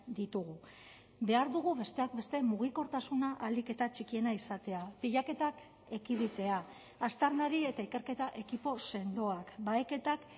ditugu behar dugu besteak beste mugikortasuna ahalik eta txikiena izatea pilaketak ekiditea aztarnari eta ikerketa ekipo sendoak baheketak